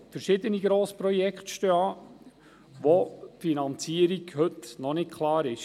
Verschiedene Grossprojekte stehen an, bei welchen die Finanzierung nicht klar ist.